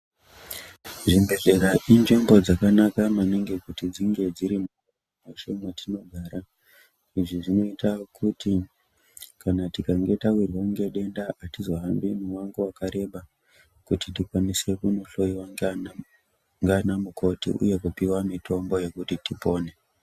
Zvibhedhlera inzvimbo dzakanaka maningi kuti dzinge dziri mwacho mwatinogara izvi zvinoita kuti kana tikange yawirwa ngedenda atizohambi mumango wakareba kuti tikwanise kunohloyiwa nganamukoti uye kupiwa mitombo yekuti tipone.